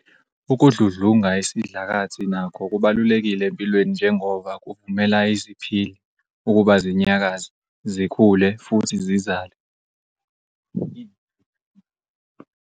Ukudludlunga isidlakathi nakho kubalulekile empilweni njengoba kuvumela iziPhili ukuba zinyakaze, zikhule futhi zizale.